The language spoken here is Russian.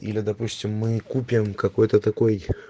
или допустим мы купим какой-то такой